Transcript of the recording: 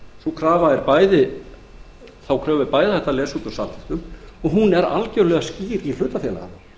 sú er raunin þá kröfu er bæði hægt að lesa út úr samþykktum og hún er algjörlega skýr í hlutafélagalögum